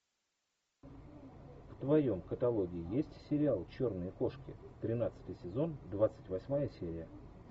в твоем каталоге есть сериал черные кошки тринадцатый сезон двадцать восьмая серия